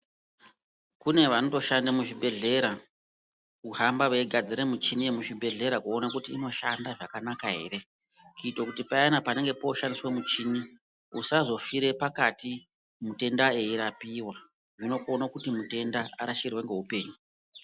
Kune vanotoshande muzvibhehlera kuhamba veinasire michini yemuzvibhehlera kuone kuti inoshanda zvakanaka here kuite kuti payani panenge poshandiswe muchini usazofire pakati mutenda eirapiwa zvinokone kuti mutenda urashikirwe ngeupenyu.